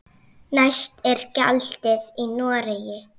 Hæst er gjaldið í Noregi.